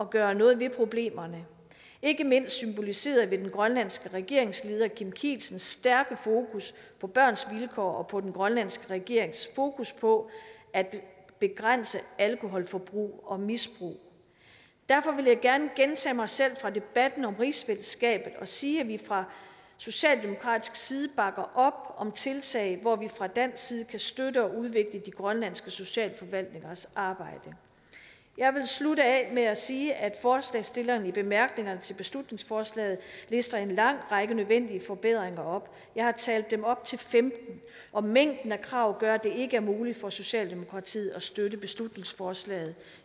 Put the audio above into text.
gøre noget ved problemerne ikke mindst symboliseret ved den grønlandske regeringsleder kim kielsens stærke fokus på børns vilkår og den grønlandske regerings fokus på at begrænse alkoholforbrug og misbrug derfor vil jeg gerne gentage mig selv fra debatten om rigsfællesskabet og sige at vi fra socialdemokratisk side bakker op om tiltag hvor vi fra dansk side kan støtte og udvikle de grønlandske socialforvaltningers arbejde jeg vil slutte af med at sige at forslagsstillerne i bemærkningerne til beslutningsforslaget lister en lang række nødvendige forbedringer op jeg har talt dem op til femtende og mængden af krav gør at det ikke er muligt for socialdemokratiet at støtte beslutningsforslaget